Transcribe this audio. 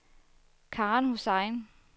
Karen Hussain